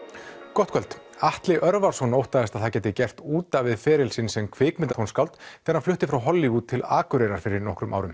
gott kvöld Atli Örvarsson óttaðist að það gæti gert út af við feril sinn sem kvikmyndatónskáld þegar hann flutti frá Hollywood til Akureyrar fyrir nokkrum árum